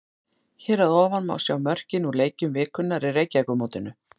Hér að ofan má sjá mörkin úr leikjum vikunnar í Reykjavíkurmótinu.